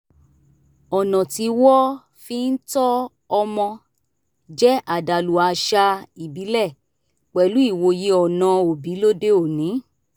ọ̀nà tí wọ́ fi ń tọ́ ọmọ jẹ́ àdàlú àṣà ìbílẹ̀ pẹ̀lú ìwòye ọ̀nà òbí lóde òní